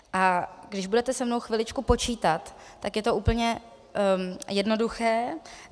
A když budete se mnou chviličku počítat, tak je to úplně jednoduché.